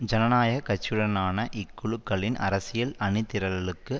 ஜனநாயக கட்சியுடனான இக்குழுக்களின் அரசியல் அணிதிரளலுக்கு